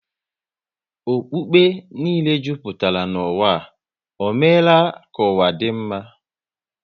Okpukpe niile jupụtara n'ụwa, ọ meela ka ụwa dị mma?